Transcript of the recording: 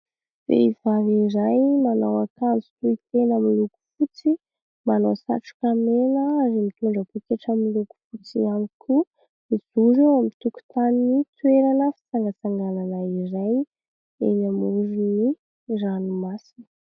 Vehivavy iray nanao akanjo tohitena miloko fotsy, manao satroka mena ary mitondra poketra miloko fotsy ihany koa ; nijoro eo tokotany toerana fitsangatsanganana izay eny amorony ranomasina.